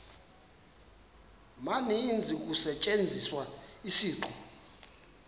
maninzi kusetyenziswa isiqu